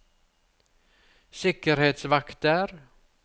sikkerhetsvakter